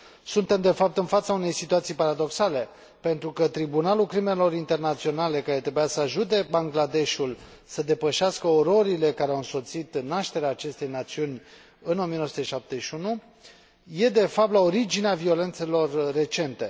Suntem, de fapt, în fața unei situații paradoxale, pentru că Tribunalul Internațional pentru Crime de Război, care trebuia să ajute Bangladeshul să depășească ororile care au însoțit nașterea acestei națiuni în 1971, este, de fapt, la originea violențelor recente.